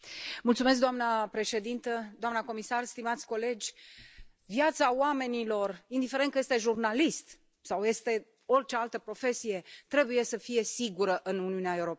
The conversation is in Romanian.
Doamnă președintă, doamnă comisară, stimați colegi, viața oamenilor, indiferent că este jurnalist sau este orice altă profesie, trebuie să fie sigură în Uniunea Europeană.